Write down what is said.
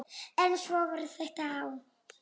En svona var þetta þá.